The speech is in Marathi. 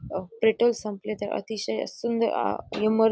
अ पेट्रोल संपले तर अतिशय सुंदर अ इमर --